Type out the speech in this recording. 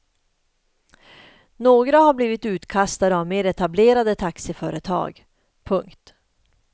Några har blivit utkastade av mer etablerade taxiföretag. punkt